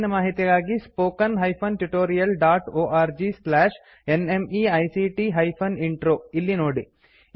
ಹೆಚ್ಚಿನ ಮಾಹಿತಿಗಾಗಿ spoken hyphen tutorial dot org slash NMEICT hyphen intro ಇಲ್ಲಿ ನೋಡಿ